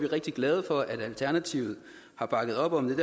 rigtig glade for at alternativet har bakket op om